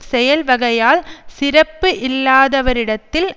செயல்வகையால் சிறப்பு இல்லாதவரரிடத்தில்